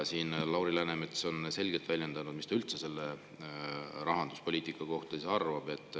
Lauri Läänemets on selgelt välja öelnud, mis ta sellest rahanduspoliitikast arvab.